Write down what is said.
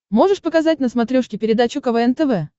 можешь показать на смотрешке передачу квн тв